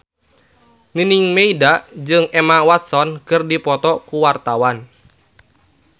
Nining Meida jeung Emma Watson keur dipoto ku wartawan